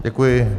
Děkuji.